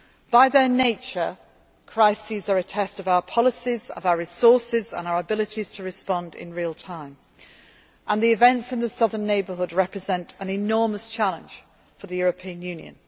prosperity. By their nature, crises are a test of our policies, our resources and our abilities to respond in real time and the events in the Southern Neighbourhood represent an enormous challenge for the